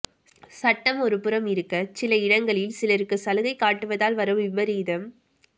சட்டம் ஒருபுறம் இருக்க சில இடங்களில் சிலருக்கு சலுகை காட்டுவதால் வரும் விபரீதம்